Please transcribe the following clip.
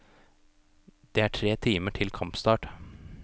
Det er tre timer til kampstart.